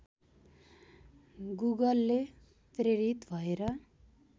गुगलले प्रेरित भएर